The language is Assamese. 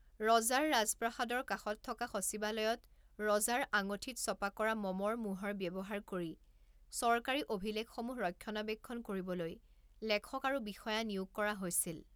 ৰজাৰ ৰাজপ্ৰসাদৰ কাষত থকা সচিবালয়ত ৰজাৰ আঙঠিত ছপা কৰা মমৰ মোহৰ ব্যৱহাৰ কৰি চৰকাৰী অভিলেখসমূহ ৰক্ষণাবেক্ষণ কৰিবলৈ লেখক আৰু বিষয়া নিয়োগ কৰা হৈছিল।